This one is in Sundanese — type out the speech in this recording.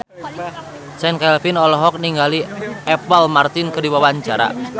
Chand Kelvin olohok ningali Apple Martin keur diwawancara